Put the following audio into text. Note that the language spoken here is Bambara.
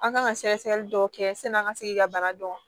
An kan ka sɛgɛsɛgɛli dɔw kɛ sani an ka se k'i ka bana dɔn